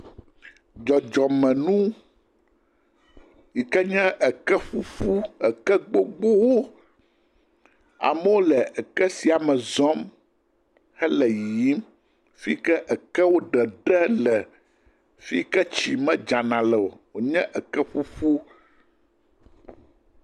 Dzɔdzɔmenu yike nye eke ƒuƒu, eke gbogboo, amewo le eke sia me zɔm hele yiyim, fii ke ekewo ɖeɖe le, fii ke tsi medzana leo, wònye eke ƒuƒu.